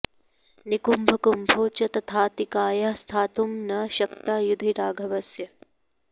निकुम्भकुम्भौ च तथातिकायः स्थातुं न शक्ता युधि राघवस्य